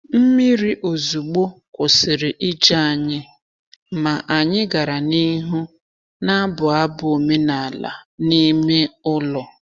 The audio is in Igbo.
Mmiri ozugbo kwụsịrị ije anyị, ma anyị gara n’ihu na-abụ abụ omenala n’ime ụlọ.